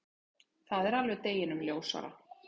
Það er alveg deginum ljósara.